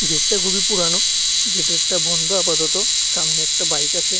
গেটটা খুবই পুরানো গেটেরটা বন্ধ আপাতত সামনে একটা বাইক আসে।